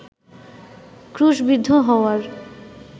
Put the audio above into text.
ক্রুশবিদ্ধ হওয়ার